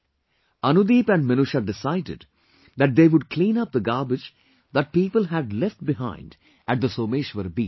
Anudeep and Minusha decided that they would clean up the garbage that people have left behind at the Someshwar beach